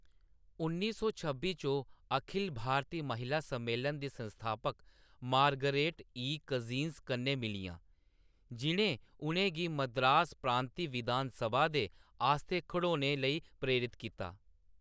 उन्नी सौ छब्बी च, ओह्‌‌ अखिल भारती महिला सम्मेलन दी संस्थापक मार्गरेट ई. कज़िन्स कन्नै मिलियां, जि'नें उʼनें गी मद्रास प्रांती विधान सभा दे आस्तै खड़ोने लेई प्रेरत कीता।